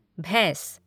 भैंस